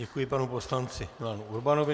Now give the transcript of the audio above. Děkuji panu poslanci Milanu Urbanovi.